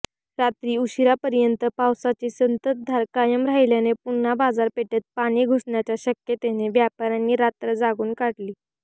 रात्री उशिरापर्यंत पावसाची संततधार कायम राहिल्याने पुन्हा बाजारपेठेत पाणी घुसण्याच्या शक्यतेने व्यापाऱयांनी रात्र जागून काढली